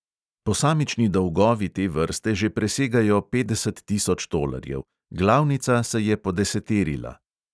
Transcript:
Posamični dolgovi te vrste že presegajo petdeset tisoč tolarjev, glavnica se je podeseterila.